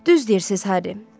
Düz deyirsiz Harry.